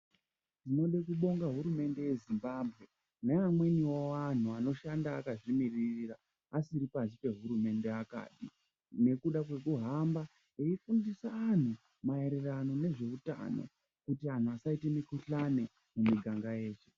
Tinode kubonga hurumende ye Zimbabwe ne amweniwo anhu anoshanda akadzi mirira asisiri pashi pe hurumende akapi nekuda kweku hamba eyi fundisa anhu maererano nezve utano kuti anhu asaite mu kuhlani mu miganga yedu.